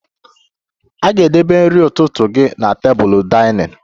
A ga-edebe nri ụtụtụ gị na tebụl dinning